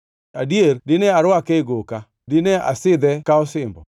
Adier, dine arwake e goka, dine asidhe ka osimbo.